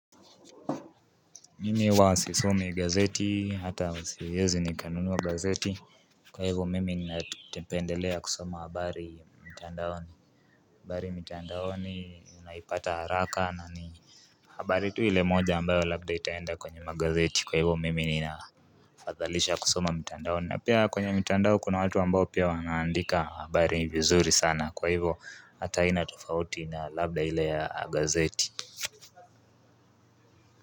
Mimi huwa sisomi gazeti hata siezi nikanuna gazeti Kwa hivyo mimi ninapendelea kusoma habari mtandaoni habari mitandaoni unaipata haraka na ni habari tu ile moja ambayo labda itaenda kwenye magazeti kwa hivyo mimi ninaafadhalisha kusoma mtandaoni na pia kwenye mitandao kuna watu ambao pia wanaandika habari vizuri sana kwa hivyo hata haina tofauti na labda ile ya gazeti.